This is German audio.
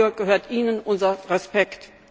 Dafür gebührt Ihnen unser Respekt!